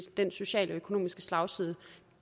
den sociale økonomiske slagside